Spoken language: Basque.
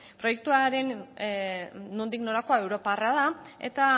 proiektuaren nondik norakoa europarra da eta